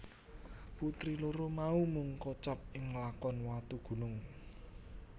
Putri loro mau mung kocap ing lakon Watugunung